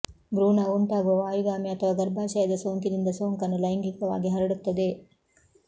ಭ್ರೂಣವು ಉಂಟಾಗುವ ವಾಯುಗಾಮಿ ಅಥವಾ ಗರ್ಭಾಶಯದ ಸೋಂಕಿನಿಂದ ಸೋಂಕನ್ನು ಲೈಂಗಿಕವಾಗಿ ಹರಡುತ್ತದೆ